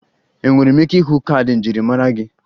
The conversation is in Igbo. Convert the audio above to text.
Enwere m ike ịhụ kaadị njirimara gị?